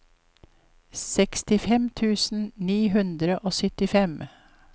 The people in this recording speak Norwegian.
sekstifem tusen ni hundre og syttifem